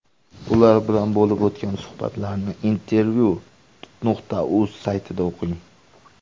Ular bilan bo‘lib o‘tgan suhbatlarni Intervyu.uz saytida o‘qing.